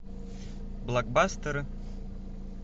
блокбастеры